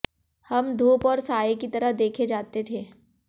हम धूप और साये की तरह देखे जाते थे